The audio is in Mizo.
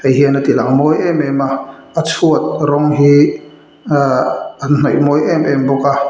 hei hian a ti lang mawi em em a a chhuat rawng hi ahh an hnawih mawi em em bawk a.